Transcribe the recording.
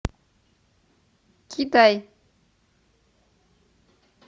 китай